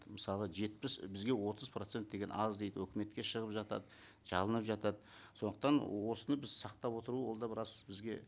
мысалы жетпіс бізге отыз процент деген аз дейді өкіметке шығып жатады жалынып жатады сондықтан осыны біз сақтап отыру ол да біраз бізге